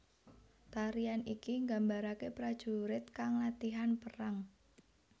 Tarian iki gambarake prajurit kang latihan perang